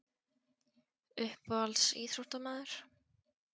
Uppáhalds íþróttamaður?